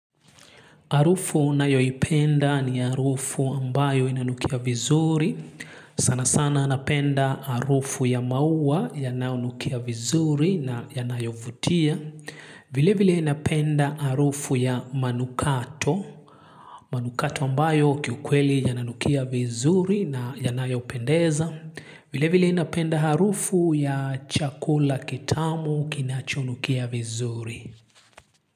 Harufu nayoipenda ni harufu ambayo inanukia vizuri. Sana sana anapenda harufu ya maua yanaonukia vizuri na yanayovutia. Vile vile napenda harufu ya manukato. Manukato ambayo kiukweli yananukia vizuri na yanayopendeza. Vile vile inapenda harufu ya chakula kitamu kinachonukia vizuri.